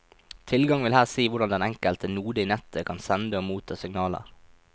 Tilgang vil her si hvordan den enkelte node i nettet kan sende og motta signaler.